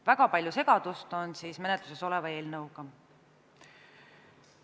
Väga palju segadust on selle menetluses oleva eelnõu ümber.